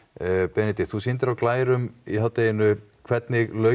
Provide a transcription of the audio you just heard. Benedikt þú sýndir á glærum í hádeginu hvernig launin